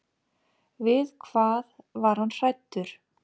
Við hvað var hann hræddur?